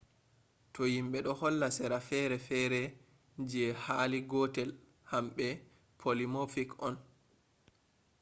to himbe do holla sera fere fere je hali gotel hambe polymorphic on